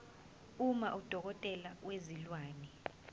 uma udokotela wezilwane